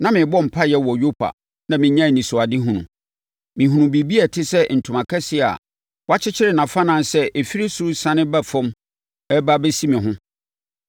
“Na merebɔ mpaeɛ wɔ Yopa na menyaa anisoadehunu. Mehunuu biribi a ɛte sɛ ntoma kɛseɛ a wɔakyekyere nʼafannan sɛ ɛfiri ɔsoro resiane ba fam reba abɛsi me ho.